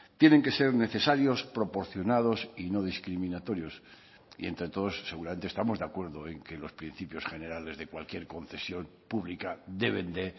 tienen que ser necesarios proporcionados y no discriminatorios y entre todos seguramente estamos de acuerdo en que los principios generales de cualquier concesión pública deben de